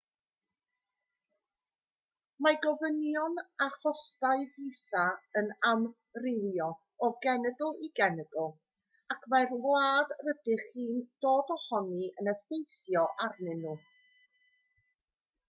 mae gofynion a chostau fisa yn amrywio o genedl i genedl ac mae'r wlad rydych chi'n dod ohoni yn effeithio arnyn nhw